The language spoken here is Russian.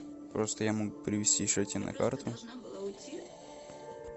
просто я мог перевести еще тебе на карту